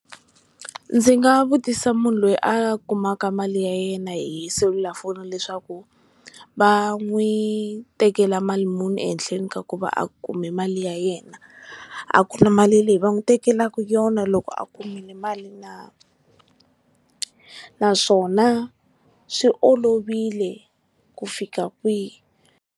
Ndzi nga vutisa munhu loyi a kumaka mali ya yena hi selulafoni leswaku va n'wi tekela mali muni ehenhleni ka ku va a kume mali ya yena a ku na mali leyi va n'wi tekelaka yona loko a kumile mali na naswona swi olovile ku fika kwihi.